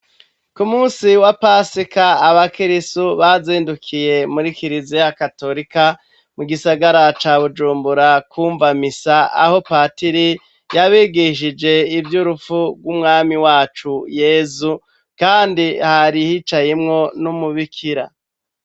ku munsi wa pasika aba kirisu bazindukiye muri kirize ya katolika mu gisagara ca bujumbura kumva misa aho patiri yabigishije ivyurupfu gw'umwami wacu yezu kandi hari hicayimwo n'umubikira